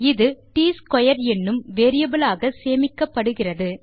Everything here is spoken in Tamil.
இது ட்ஸ்க்வேர் என்னும் வேரியபிள் ஆக சேமிக்கப்படுகிறது